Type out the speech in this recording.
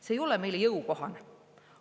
See ei ole meile jõukohane.